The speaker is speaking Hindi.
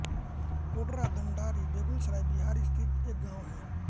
कोडरा दनडारी बेगूसराय बिहार स्थित एक गाँव है